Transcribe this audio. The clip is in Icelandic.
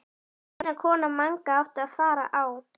Stína kona Manga átti að fara á